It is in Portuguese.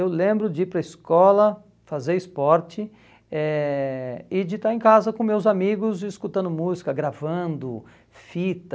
Eu lembro de ir para a escola fazer esporte eh e de estar em casa com meus amigos, escutando música, gravando fita.